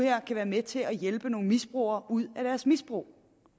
kan være med til at hjælpe nogle misbrugere ud af deres misbrug